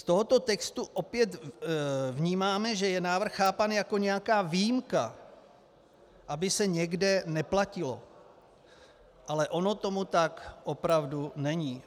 Z tohoto textu opět vnímáme, že návrh je chápán jako nějaká výjimka, aby se někde neplatilo, ale ono tomu tak opravdu není.